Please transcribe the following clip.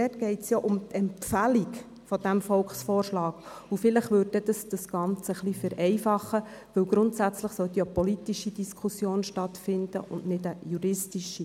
Dort geht es ja um die Empfehlung des Volksvorschlags, und vielleicht würde dies das Ganze ein bisschen vereinfachen, denn grundsätzlich sollte hier eine politische Diskussion stattfinden und nicht eine juristische.